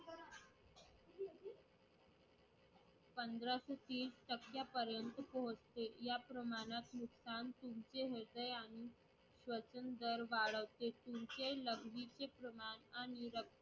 पंधरा ते तीस टक्क्यापर्यंत पोहोचते. या प्रमाणात